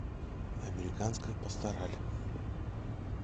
американская пастораль